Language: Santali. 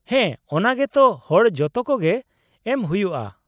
-ᱦᱮᱸ, ᱚᱱᱟᱜᱮ ᱛᱚ ᱦᱚᱲ ᱡᱚᱛᱚᱠᱚᱜᱮ ᱮᱢ ᱦᱩᱭᱩᱜᱼᱟ ᱾